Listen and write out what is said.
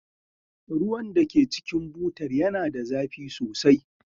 Ruwan da ke cikin butar yana da zafi sosai.